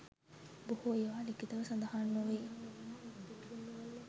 බොහෝ ඒවා ලිඛිතව සඳහන් නොවේ.